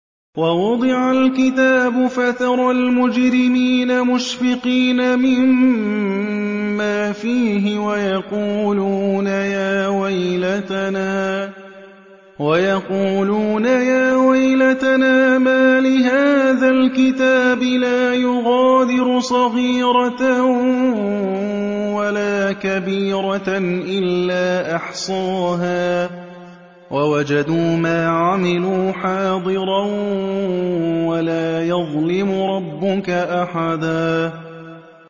وَوُضِعَ الْكِتَابُ فَتَرَى الْمُجْرِمِينَ مُشْفِقِينَ مِمَّا فِيهِ وَيَقُولُونَ يَا وَيْلَتَنَا مَالِ هَٰذَا الْكِتَابِ لَا يُغَادِرُ صَغِيرَةً وَلَا كَبِيرَةً إِلَّا أَحْصَاهَا ۚ وَوَجَدُوا مَا عَمِلُوا حَاضِرًا ۗ وَلَا يَظْلِمُ رَبُّكَ أَحَدًا